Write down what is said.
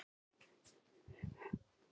hrópaði ég.